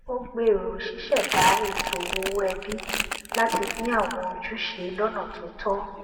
ó gbèrò ṣíṣẹdá ètò owó ẹbí láti pín àwọn ojúṣe lọnà tó tọ